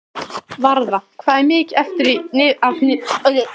Varða, hvað er mikið eftir af niðurteljaranum?